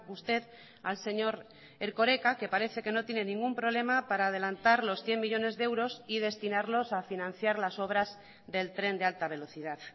usted al señor erkoreka que parece que no tiene ningún problema para adelantar los cien millónes de euros y destinarlos a financiar las obras del tren de alta velocidad